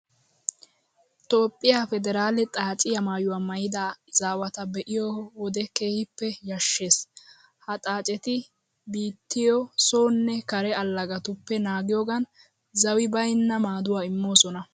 Toophphiya pederaale xaaciya maayuwa maayida izaawata be'iyo wode keehippe yashshees. Ha xaaceti biittiyo sonne kare allagatuppe naagiyogan zawi baynna maaduwa immoosona.